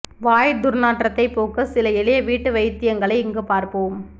வாய் துர்நாற்றத்தை போக்க சில எளிய வீட்டு வைத்தியங்களை இங்கு பார்ப்போம்